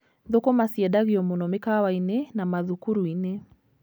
Thũkũma ciendagio mũno mĩkawa-inĩ and mathukuru-inĩ.